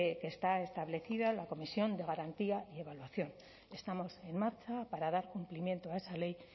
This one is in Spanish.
que está establecida en la comisión de garantía y evaluación estamos en marcha para dar cumplimiento a esa ley